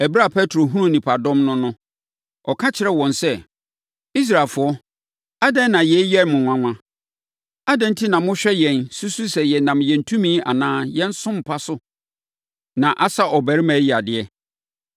Ɛberɛ a Petro hunuu nnipadɔm no no, ɔka kyerɛɛ wɔn sɛ, “Israelfoɔ, adɛn na yei yɛ mo nwanwa? Adɛn enti na mohwɛ yɛn, susu sɛ yɛnam yɛn tumi anaa yɛn som pa so na asa ɔbarima yi yadeɛ?